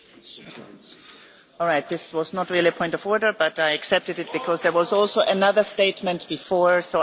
This was not really a point of order, but I accepted it because there was also another statement before and so I accepted both of those.